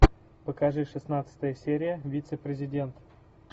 покажи шестнадцатая серия вице президент